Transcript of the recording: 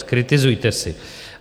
Zkritizujte si.